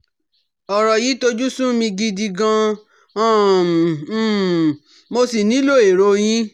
Ọ̀rọ̀ yìí tojú sú mi gidi gan um mo sì nílò èrò yín